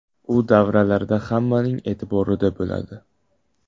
U davralarda hammaning e’tiborida bo‘ladi.